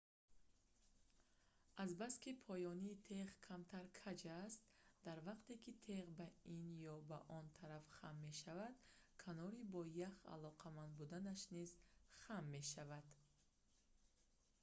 азбаски поёни теғ камтар каҷ аст дар вақте ки теғ ба ин ё ба он тараф хам мешавад канори бо ях алоқаманд будааш низ хам мешавад